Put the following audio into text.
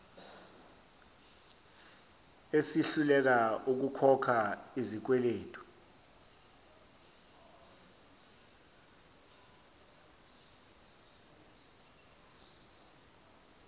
esihluleka ukukhokha izikweletu